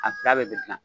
A da bɛ gilan